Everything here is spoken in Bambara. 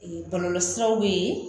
bɔlɔlɔ siraw bɛ ye